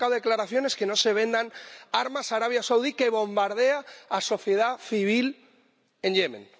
Hemos sacado declaraciones para que no se vendan armas a Arabia Saudí, que bombardea a la sociedad civil en Yemen.